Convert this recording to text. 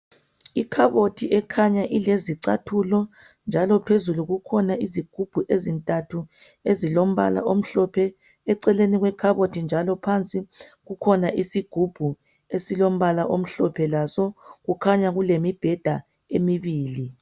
Ikhabothi ekhanya ilezicathulo njalo phezulu kukhona izigubhu ezintathu ezilombala omhlophe eceleni kwekhabothi njalo phansi kukhona isigubhu esilombala omhlophe laso kukhanya kulemibheda emibili.